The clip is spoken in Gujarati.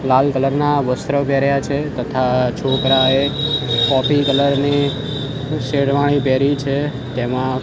લાલ કલર ના વસ્ત્ર પેહેર્યા છે તથા છોકરાએ કૉફી કલર ની શેરવાણી પેહેરી છે તેમાં --